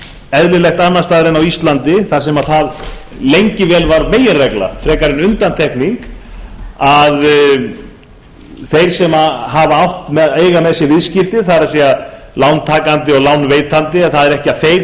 eðlilegt annars staðar en á íslandi þar sem það lengi vel var meginregla frekar en undantekning að þeir sem eiga með sér viðskipti það er lántakandi og lánveitandi að það er ekki að þeir